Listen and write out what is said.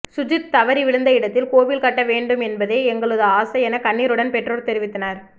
சுஜித் தவறி விழுந்த இடத்தில் கோவில் கட்ட வேண்டும் என்பதே எங்களது ஆசை என கண்ணீருடன் பெற்றோர் தெரிவித்தனர்